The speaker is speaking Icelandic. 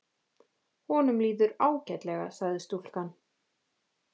Honum líður ágætlega sagði stúlkan.